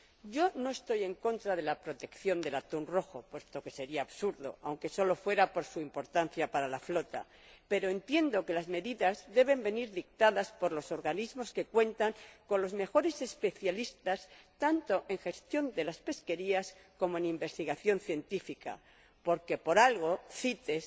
Yo no estoy en contra de la protección del atún rojo, puesto que sería absurdo, aunque sólo fuera por su importancia para la flota, pero entiendo que las medidas deben ser dictadas por los organismos que cuentan con los mejores especialistas tanto en gestión de las pesquerías como en investigación científica, porque por algo CITES